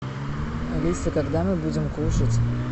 алиса когда мы будем кушать